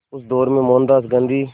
उस दौर में मोहनदास गांधी